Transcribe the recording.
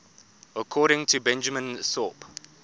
according to benjamin thorpe